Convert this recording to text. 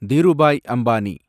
Dhirubhai Ambani